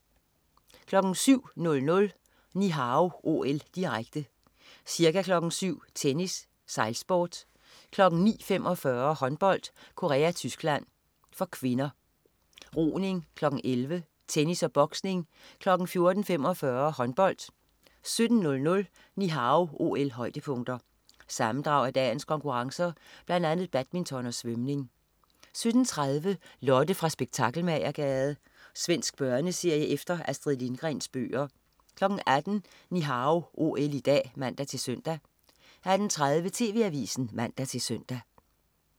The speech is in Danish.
07.00 Ni Hao OL, direkte. Ca. kl. 07.00: Tennis, sejlsport, kl. 09.45: Håndbold: Korea-Tyskland (k), roning, kl. 11.00: Tennis og boksning, kl. 14.45: Håndbold 17.00 Ni Hao OL-højdepunkter. Sammendrag af dagens konkurrencer, blandt andet badminton og svømning 17.30 Lotte fra Spektakelmagergade. Svensk børneserie efter Astrid Lindgrens bøger 18.00 Ni Hao OL i dag (man-søn) 18.30 TV Avisen (man-søn)